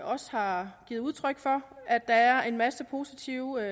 også har givet udtryk for at der er en masse positive